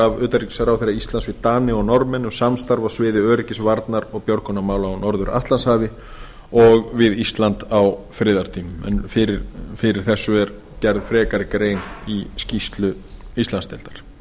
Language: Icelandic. af utanríkisráðherra íslands við dani og norðmenn um samstarf á sviði öryggis varnar og björgunarmála á norður atlantshafi og við ísland á friðartímum en fyrir þessu er gerð frekari grein í skýrslu íslandsdeildar